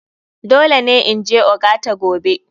Dole ne in je ogata gobe.